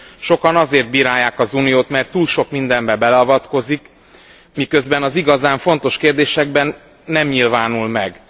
Sokan azért bírálják az Uniót, mert túl sok mindenbe beleavatkozik, miközben az igazán fontos kérdésekben nem nyilvánul meg.